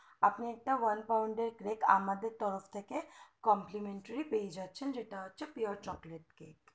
আপনি একটা oil pound cake আমাদের তরফ থেকে complimentary পেয়ে যাচ্ছেন যেটা হচ্ছে pure chocolate cake